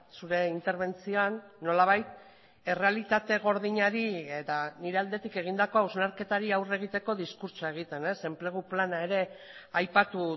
zure interbentzioan nolabait errealitate gordinari eta nire aldetik egindako hausnarketari aurre egiteko diskurtsoa egiten enplegu plana ere aipatu